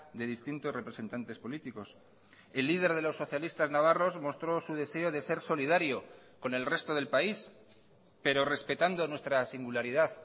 de distintos representantes políticos el líder de los socialistas navarros mostró su deseo de ser solidario con el resto del país pero respetando nuestra singularidad